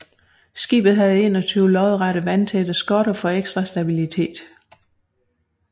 Skibet havde 21 lodrette vandtætte skotter for ekstra stabilitet